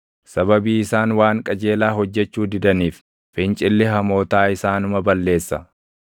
Sababii isaan waan qajeelaa hojjechuu didaniif, fincilli hamootaa isaanuma balleessa.